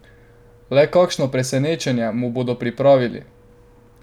Le kakšno presenečenje mu bodo pripravili?